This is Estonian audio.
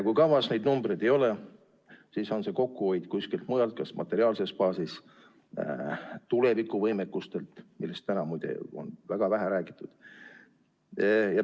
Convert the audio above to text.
Kui kavas neid numbreid ei ole, siis on see kokkuhoid kuskil mujal, kas materiaalses baasis, tulevikuvõimekuses, millest täna, muide, on väga vähe räägitud.